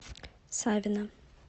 савина